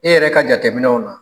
E yɛrɛ ka jateminɛw na